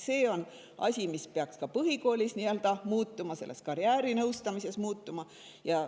See on asi, mis peaks ka põhikoolis ja karjäärinõustamises muutuma.